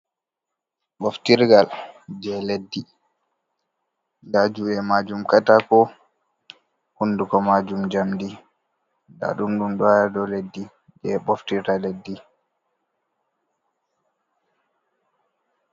Ɓoftirgal jei Leddi, nda juuɗe majum ɗum katako, honduko majum jamndi, ndaɗum ɗum ɗon haa dow leddi, jei ɓe ɓoftirta leddi.